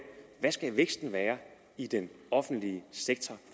hvad skal væksten være i den offentlige sektor